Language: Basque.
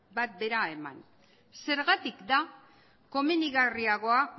bat bera eman zergatik da komenigarriagoa